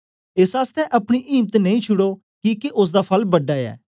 एस आसतै अपनी इम्त नेई छुड़ो किके ओसदा फल बड़ा ऐ